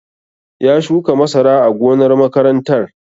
Ya shuka masara a gonar makarantar